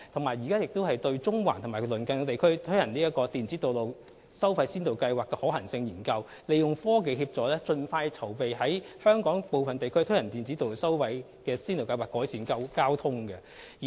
此外，政府正對中環及其鄰近地區推行電子道路收費先導計劃進行可行性研究，利用科技協助盡快籌備在香港部分地區推行先導計劃，以紓緩交通問題。